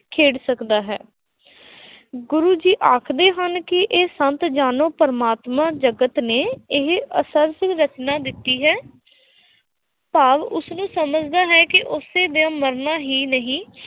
ਖੇਡ ਸਕਦਾ ਹੈ l ਗੁਰੂ ਜੀ ਆਖਦੇ ਹਨ ਕਿ ਇਹ ਸੰਤ ਜਾਨੋ ਪ੍ਰਮਾਤਮਾ ਜਗਤ ਨੇ, ਇਹ ਰਚਨਾ ਦਿੱਤੀ ਹੈ ਭਾਵ ਉਸਨੂੰ ਸਮਝਦਾ ਹੈ ਕਿ ਉਸਨੇ ਮਰਨਾ ਹੀ ਨਹੀਂ